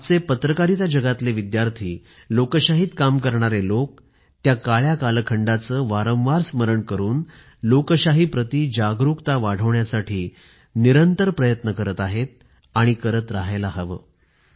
आजचे पत्रकारिता जगातले विद्यार्थी लोकशाहीत काम करणारे लोक त्या काळ्या कालखंडाचा वारंवार स्मरण करून लोकशाहीप्रती जागरूकता वाढवण्यासाठी निरंतर प्रयत्न करत आहेत आणि करत राहायला हवं